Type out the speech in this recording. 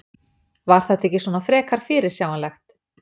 Var þetta ekki svona frekar fyrirsjáanlegt?